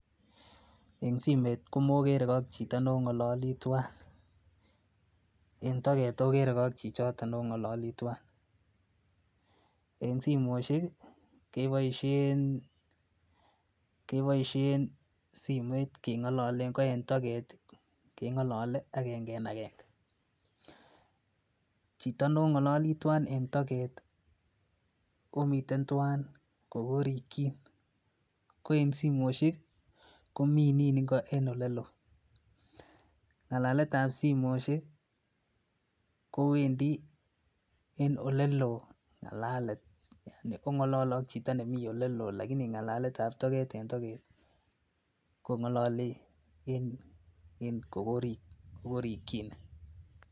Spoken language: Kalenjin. En simoit komokeregee ak chito nong'ololii twan, en toget okeregee ak chichoto nong'ololii twan. En simoisiek ih keboisien keboisien simoit keng'ololen ko en toget ih keng'olole agenge en agenge. Chito nong'ololii twan en toget ih omiten twan kokorikyin ko en simoisiek ih komii nin ngo en oleloo. Ng'alaletab simoisiek kowendii en oleloo ng'alalet ong'olole ak chito nemii oleloo lakini ng'alaletab toget en toget kong'ololii en en kokorikyine